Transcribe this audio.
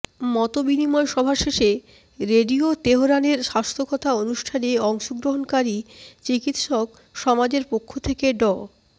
মতবিনিময় সভা শেষে রেডিও তেহরানের স্বাস্থ্যকথা অনুষ্ঠানে অংশগ্রহণকারী চিকিৎসক সমাজের পক্ষ থেকে ড